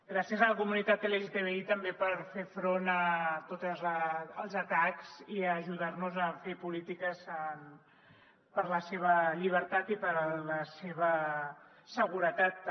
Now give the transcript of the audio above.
gràcies a la comunitat lgtbi també per fer front a tots els atacs i ajudar nos a fer polítiques per a la seva llibertat i per a la seva seguretat també